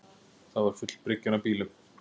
Það var full bryggjan af bílum